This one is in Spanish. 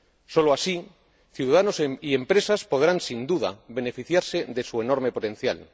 Solo así ciudadanos y empresas podrán, sin duda, beneficiarse de su enorme potencial.